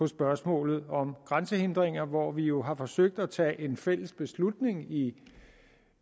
spørgsmålet om grænsehindringer hvor vi jo har forsøgt at tage en fælles beslutning i